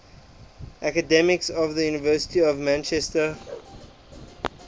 academics of the university of manchester